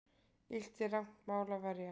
Illt er rangt mál að verja.